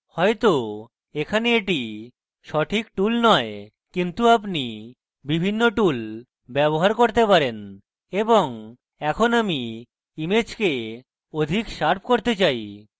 হয়তো এখানে এটি সঠিক tool নয় কিন্তু আপনি বিভিন্ন tool ব্যবহার করতে পারেন এবং এখন আমি image অধিক শার্প করতে চাই